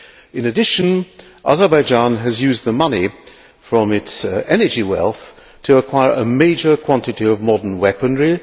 In addition Azerbaijan has used the money from its energy wealth to acquire a major quantity of modern weaponry